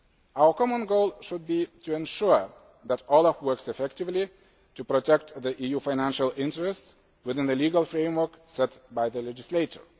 Our common goal should be to ensure that OLAF works effectively to protect the EU's financial interests within the legal framework set by the legislator.